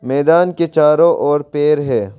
मैदान के चारों ओर पेड़ हैं।